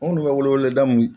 Anw dun bɛ weleweleda min